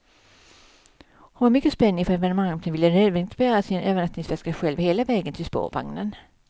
Hon var mycket spänd inför evenemanget och ville nödvändigt bära sin övernattningsväska själv hela vägen till spårvagnen.